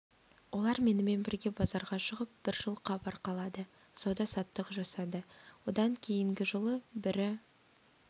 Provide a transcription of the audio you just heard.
олар менімен бірге базарға шығып бір жыл қап арқалады сауда-саттық жасады одан кейінгі жылы бірі